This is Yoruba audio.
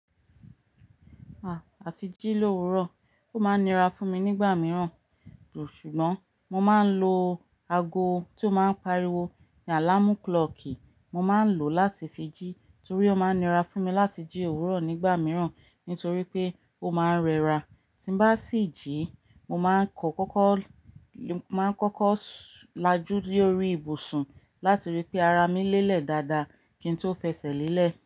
Ah! Àti jí lówuro, ó máa ń nira fún mi nígbà mìíràn, ṣùgbọ́n mo máa ń lo ago tí ó máa ń pariwo "alarm clock" mo máa ń lò láti fi jí torí ó máa ń nira fún mi láti jí òwúrọ̀ nígbà mìíràn, nítorí pé ó máa ń rẹra. Tí bá sì jí, mo máa ń kọ́ kọ́kọ́, mo máa ń kọ́kọ́ lajú lórí ibùsùn láti ríi pé ara mi lélẹ̀ dáadáa kí n tó fẹsẹ̀ lélẹ̀